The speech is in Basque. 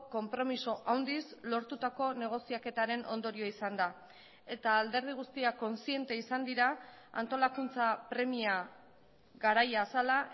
konpromiso handiz lortutako negoziaketaren ondorio izan da eta alderdi guztiak kontziente izan dira antolakuntza premia garaia zela